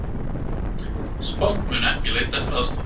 Spánn mun ekki leita eftir aðstoð